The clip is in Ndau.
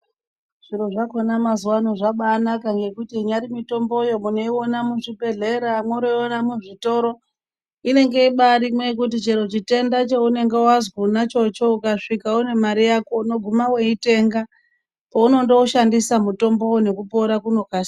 Zviro zvakona mazuwano zvabanaka nekuti inyari mitombo yoo unoiona uzvibhedhlera mworoyiona muzvitoro . Inenge ibarimwo yekuti chero chitenda chaunenge wazwa chonacho ukasvika une mari yako unoguma weitenga, poundoushandisa mutombo uyu nekupora kunokasika.